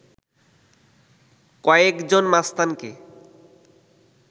কয়েকজন মাস্তানকে